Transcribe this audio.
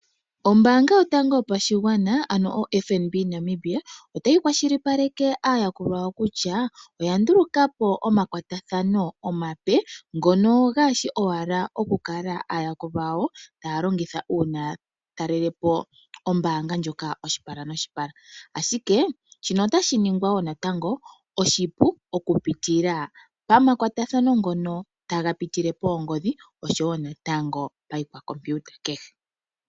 Ombaanga yotango yopashigwana ano oFNB Namibia, otayi kwa shilipaleke aayakulwa yawo kutya, oya nduluka po omakwatathano omape ngono gaashi owala okula aayakulwa yawo taa longitha uuna ya talele po ombaanga ndjoka oshipala noshipala, ashike shino otashi ningwa woo natango oshipu okupitila pamakwatathano ngono taga pitile poongodhi oshowo natango pa ikwa kompiuta hehe.